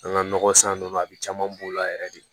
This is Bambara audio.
An ka nɔgɔ san ninnu na a bɛ caman b'o la yɛrɛ de